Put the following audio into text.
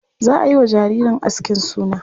Za a yi wa jaririn askin suna.